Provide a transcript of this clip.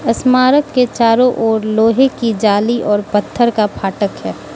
स्मारक के चारों ओर लोहे की जाली और पत्थर का फाटक है।